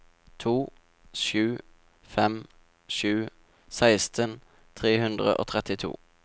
to sju fem sju seksten tre hundre og trettito